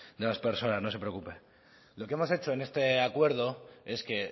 de las personas no se preocupe lo que hemos hecho en este acuerdo es que